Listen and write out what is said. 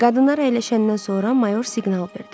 Qadınlar əyləşəndən sonra mayor siqnal verdi.